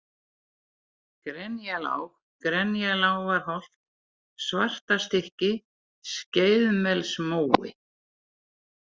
Grenjalág, Grenjalágarholt, Svartastykki, Skeiðmelsmói